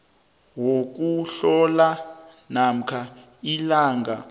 wokuhlola namkha ilanga